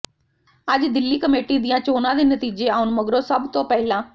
ਅੱਜ ਦਿੱਲੀ ਕਮੇਟੀ ਦੀਆਂ ਚੋਣਾਂ ਦੇ ਨਤੀਜੇ ਆਉਣ ਮਗਰੋਂ ਸਭ ਤੋਂ ਪਹਿਲਾਂ ਸ